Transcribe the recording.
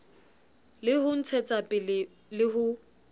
le ho ntshetsapele le ho